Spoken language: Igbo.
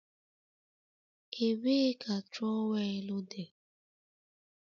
Ebee ka trowel dị?